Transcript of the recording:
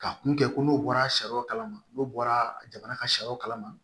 Ka kun kɛ ko n'u bɔra sariyaw kalama n'u bɔra jamana ka sariyaw kalama